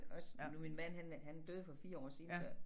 Også nu min mand han er han døde for 4 år siden så